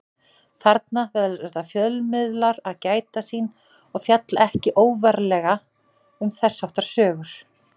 Þarna verða fjölmiðlar að gæta sín og fjalla ekki óvarlega um þess háttar sögur.